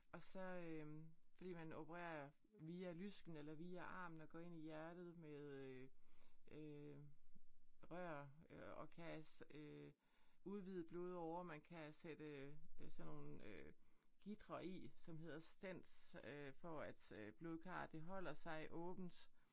Og så øh bliver man opereret via lysken eller via armen og går ind i hjertet med øh øh rør øh og kan øh udvide blodårer man kan sætte øh sådan nogle øh gitre i som hedder stens øh for at øh blodkarret det holder sig åbent